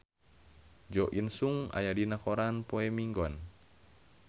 Jo In Sung aya dina koran poe Minggon